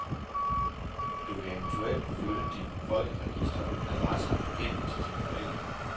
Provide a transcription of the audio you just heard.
Du kan eventuelt flytte din folkeregisteradresse hen til dine forældre.